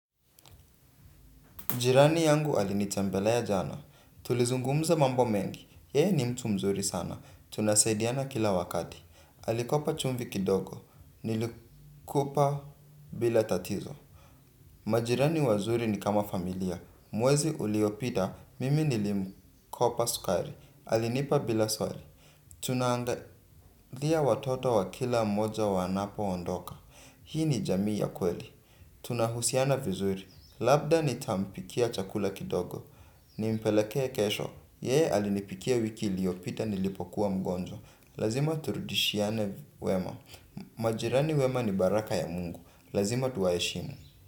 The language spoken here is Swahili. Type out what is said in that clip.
Jirani yangu alinitembelea jana, tulizungumza mambo mengi, yeye ni mtu mzuri sana, tunasaidiana kila wakati, alikopa chumvi kidogo, nilikupa bila tatizo. Majirani wazuri ni kama familia, mwezi uliopita, mimi nilimkopa sukari, alinipa bila swali. Tuna angalia watoto wa kila mmoja wanapo ondoka hii ni jamii ya kweli. Tunahusiana vizuri. Labda nitampikia chakula kidogo. Nimpelekea kesho. Yeye alinipikia wiki iliyopita nilipokuwa mgonjwa, lazima turudishiane wema. Majirani wema ni baraka ya mungu. Lazima tuwaheshimu.